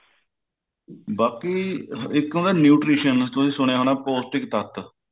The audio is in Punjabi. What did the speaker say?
ਬਾਕੀ ਇੱਕ ਹੁੰਦਾ nutrition ਤੁਸੀਂ ਸੁਣਿਆ ਹੋਣਾ ਪੋਸਟਿਕ ਤੱਤ